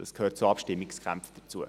das gehört bei Abstimmungskämpfen dazu.